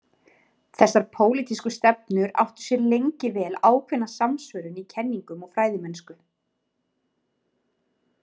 Þessar pólitísku stefnur áttu sér lengi vel ákveðna samsvörun í kenningum og fræðimennsku.